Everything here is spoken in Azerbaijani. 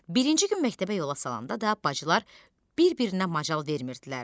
Birinci gün məktəbə yola salanda da bacılar bir-birinə macal vermirdilər.